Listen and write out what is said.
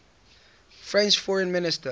french foreign minister